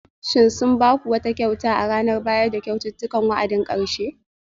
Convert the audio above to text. Shin sun ba ku wata kyauta a ranar bayar da kyaututtukan wa'adin karshe?